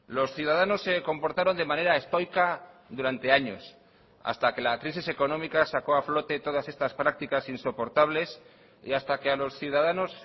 los ciudadanos se comportaron de manera estoica durante años hasta que la crisis económica sacó a flote todas estas prácticas insoportables y hasta que a los ciudadanos